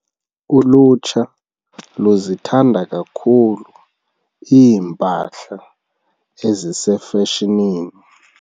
Ulutsha luzithanda kakhulu iimpahla ezisefashonini.